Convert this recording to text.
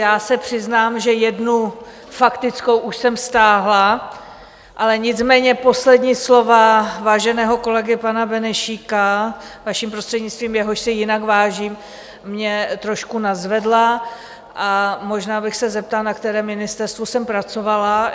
Já se přiznám, že jednu faktickou už jsem stáhla, ale nicméně poslední slova váženého kolegy pana Benešíka, vaším prostřednictvím, jehož si jinak vážím, mě trošku nadzvedla a možná bych se zeptala, na kterém ministerstvu jsem pracovala.